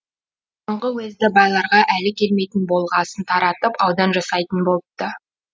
бұрынғы уезді байларға әлі келмейтін болғасын таратып аудан жасайтын болыпты